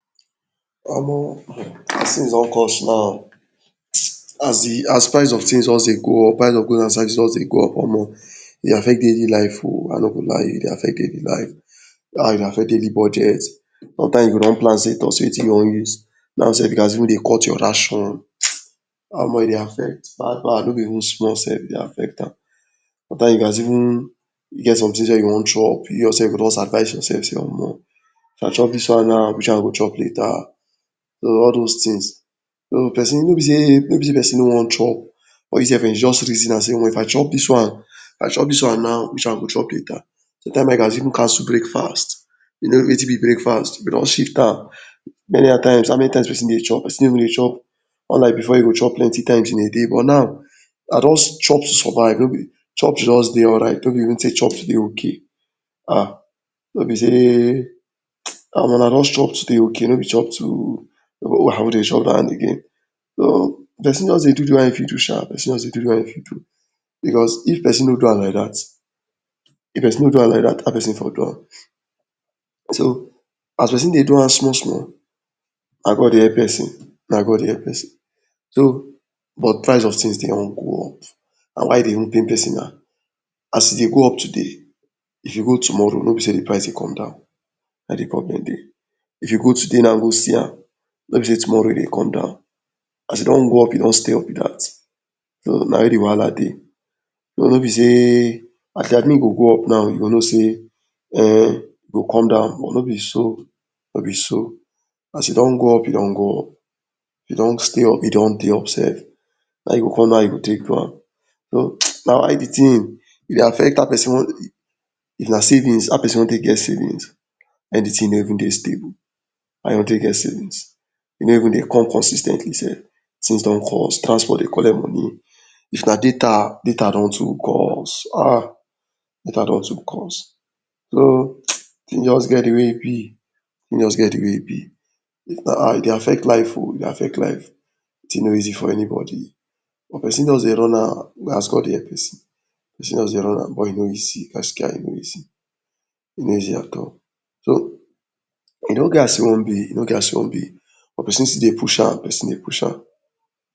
OMO um things don cost now o as the as price of things just Dey go up price of goods and services just Dey go up omo e Dey affect daily life o I no go lie you e Dey affect daily life how e go affect daily budget sometimes you go don plan sey see wetin you wan use no sef you gats even Dey cut your ration omo e Dey affect bad bad no be even small sef e Dey affect am sometimes you gats even get something’s wey you wan chop you yourself you go just advice yourself sey omo if I chop dis one now Which one I go chop later so all dose things so person no be sey person no wan chop but I’m sef e just reason am sey omo if I chop dis one if I chop dis one now wetin I go chop later sometimes no you gats even cancel breakfast you know wetin be breakfast you don shift am many at times how many times person go Dey chop person go Dey chop plenty times in a day but now na just chop make you Dey alright no be sey to chop to Dey okay um no be sey omo na just chop to Dey okay no be chop to person just Dey do de one e fit do sha person just Dey do the one e fit do because if person no do am like dat if person no do am now person go do so as person Dey do am small small na God Dey help person na God Dey help person so but price of things Dey wan go up na why e Dey good make person as e Dey go up today e dey go up tomorrow no b me sey w Dey come down if you go today wunna go see am sef tomorrow e go come down as e don go up e don go up b dat Toh na im de wahala dey no be sey as Dey go up now you go now sey em e go come down no be so no be so as e don go up e don go up w don stay up e don Dey up sef na you go come know how you go take do am mstww na y de thing e Dey affect how person wan how person wan take get savings when de thing no even Dey stable how you wan take get savings e no even Dey come consis ten tly sef things don constant Dey collect money if na data data don too cost ahh data don to cost so I’m just get de wey im b im just get de wey im b e Dey affect life oo e Dey affect life de thing no easy for anybody person just Dey run am as God dey help person person just Dey run and buy e no easy Gaskiya e no easy e no easy at all e no get as e wan b e no get as e wan b but person still Dey push am person Dey push am